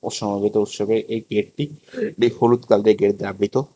সমবেত উৎসবের এই গেটটি বে হলুদ কালারের গেট দিয়ে আবৃত।